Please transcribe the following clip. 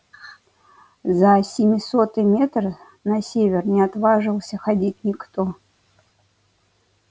за семисотый метр на север не отваживался ходить никто